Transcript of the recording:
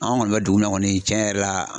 An kɔni bɛ dugu min na kɔni cɛn yɛrɛ la